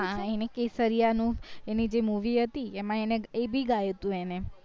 હા એને કેસરીયનું એની જે movie હતી એમાં એને એ ભી ગયું હતું એને